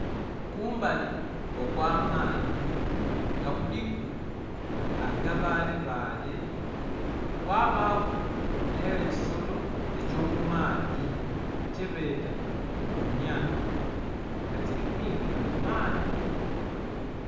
Kumbali okw'amaadhi nga kuliku agabaalebaale kwabaaku n'ekisolo eky'omumaadhi kyebeeta goonya nga kiri kwingila mu maadhi.